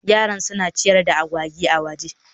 Yaran suna ciyar da agwagi a waje